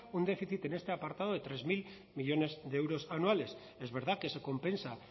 un déficit en este apartado de tres mil millónes de euros anuales es verdad que se compensa